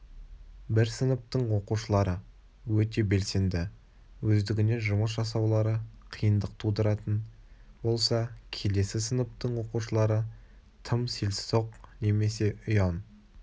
бір сыныптың оқушылары өте белсенді өздігінен жұмыс жасаулары қиындық тудыратын болса келесі сыныптың оқушылары тым селсоқ немесе ұяң